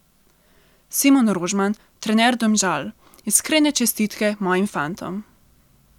Simon Rožman, trener Domžal: "Iskrene čestitke mojim fantom.